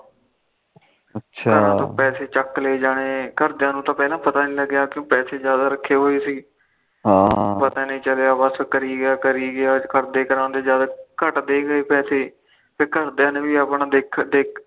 ਘਰੋ ਤੋ ਪੈਸੇ ਚੱਕ ਲੈ ਜਾਣੇ ਘਰਦਿਆ ਨੂੰ ਤਾ ਪਹਿਲਾ ਪਤਾ ਨੀ ਲੱਗਿਆ ਪੈਸੇ ਜਾਦਾ ਰੱਖੇ ਹੋਏ ਸੀ ਪਤਾ ਨੀ ਚੱਲਿਆ ਬਸ ਕਰੀ ਗਿਆ ਕਰੀ ਗਿਆ ਕਰਦੇ ਜਦ ਘਟਦੇ ਗਏ ਪੈਸੇ ਫਿਰ ਘਰਦਿਆ ਨੇ ਵੀ ਆਪਣਾ ਦੇਖਿਆ